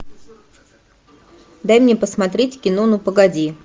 дай мне посмотреть кино ну погоди